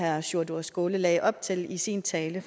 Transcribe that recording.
herre sjúrður skaale lagde op til i sin tale